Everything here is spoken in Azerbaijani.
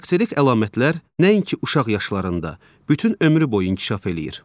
Xarakterik əlamətlər nəinki uşaq yaşlarında, bütün ömrü boyu inkişaf eləyir.